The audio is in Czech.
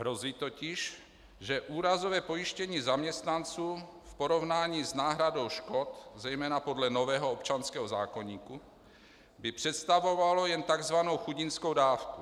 Hrozí totiž, že úrazové pojištění zaměstnanců v porovnání s náhradou škod zejména podle nového občanského zákoníku by představovalo jen tzv. chudinskou dávku.